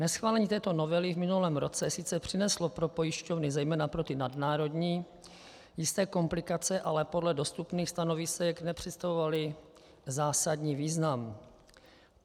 Neschválení této novely v minulém roce sice přineslo pro pojišťovny, zejména pro ty nadnárodní, jisté komplikace, ale podle dostupných stanovisek nepředstavovaly zásadní význam.